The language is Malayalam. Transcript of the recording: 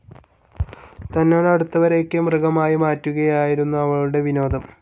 തന്നോടടുത്തവരെയൊക്കെ, മൃഗങ്ങളായി മാറ്റുകയായിരുന്നു അവളുടെ വിനോദം.